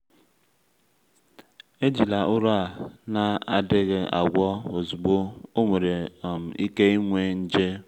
ejila ụrọ a na-adịghị agwọ ozugbo ọ nwere um ike inwe nje.